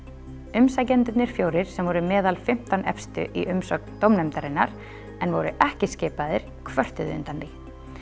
umsækjendurnir fjórir sem voru meðal fimmtán efstu í umsögn dómnefndarinnar en voru ekki skipaðir kvörtuðu undan því